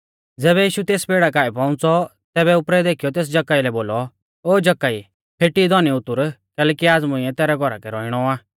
ज़ैबै यीशु तेस पेड़ा काऐ पौउंच़ौ तैबै उपरै देखीयौ तेस जक्कई लै बोलौ ओ जक्कई फेटी धौनी उतुर कैलैकि आज़ मुंइऐ तैरै घौरा कै रौइणौ आ